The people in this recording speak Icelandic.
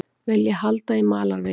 Vilja halda í malarveginn